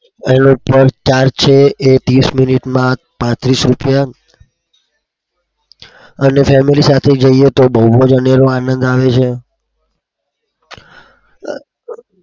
અને family સાથે જઈએ તો બઉ જ અનેરો આનંદ આવે છે.